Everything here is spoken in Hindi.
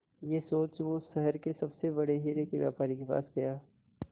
यह सोच वो शहर के सबसे बड़े हीरे के व्यापारी के पास गया